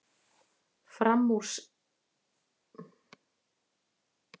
Framúraksturinn reyndist dýr